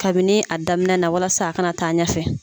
Kabini a daminɛ na walasa a kana taa ɲɛfɛ.